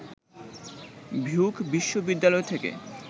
Duke বিশ্ববিদ্যালয় থেকে